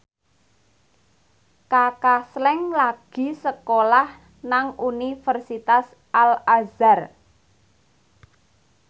Kaka Slank lagi sekolah nang Universitas Al Azhar